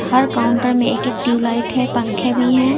और काउंटर में एक एक ट्यूबलाइट है पंखे भी है।